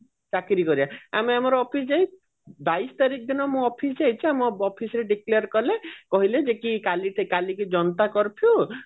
ଚାକିରି କରିବା ଆମେ ଆମର office ଯାଉ ବାଇଶ ତାରିଖ ଦିନ ମୁଁ office ଯାଇଛି ଆମ office ରେ declare କଲେ କହିଲେ ଯେ କି କାଲିଠୁ ଜନତା କର୍ଫୁ